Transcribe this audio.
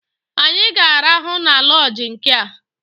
Anyị ga-arahụ na lọọjị nkea!